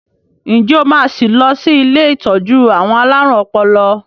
Ǹjẹ́ o máa sì lọ sí ilé ìtọ́jú àwọn alárùn ọpọlọ?